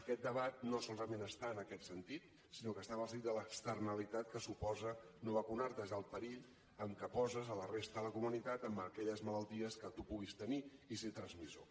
aquest debat no solament està en aquest sentit sinó que està en el sentit de l’externalitat que suposa no vacunar te és el perill en què poses la resta de la comunitat amb aquelles malalties que tu puguis tenir i ser ne transmissor